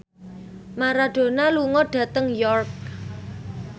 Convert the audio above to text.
Maradona lunga dhateng York